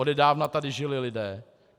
Odedávna tady žili lidé.